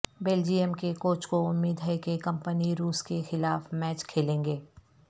Belgium کے coach کو امید ہے کہ کمپنی روس کے خلاف میچ کھیلیں گے